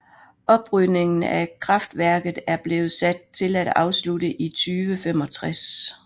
Oprydningen af kraftværket er blevet sat til at afslutte i 2065